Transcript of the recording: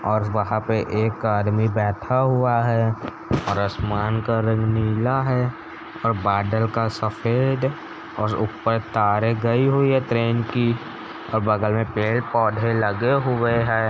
और वहाँ पे एक आदमी बैठा हुआ है और आसमान का रंग नीला है और बादल का सफेद और ऊपर तारे गई हुई है ट्रेन की और बगल में पेड़-पौधे लगे हुए हैं।